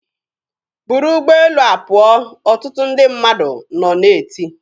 "Buru ụgbọelu a pụọ!" ọtụtụ ndị mmadụ nọ na-eti.